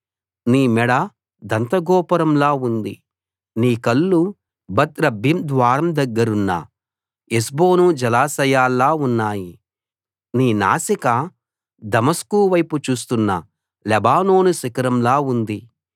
నీ మెడ దంతగోపురంలా ఉంది నీ కళ్ళు బత్ రబ్బీం ద్వారం దగ్గరున్న హెష్బోను జలాశయాల్లా ఉన్నాయి నీ నాసిక దమస్కు వైపు చూస్తున్న లెబానోను శిఖరంలా ఉంది